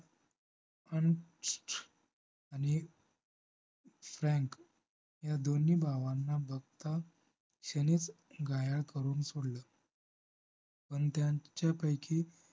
अंश आणि FRANK या दोन्ही भावांना बघता क्षणीच घाया करून सोडलं पण त्यांच्यापैकी